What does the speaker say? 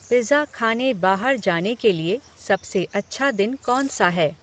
pizza खाने बाहर जाने के लिए सबसे अच्छा दिन कौन सा है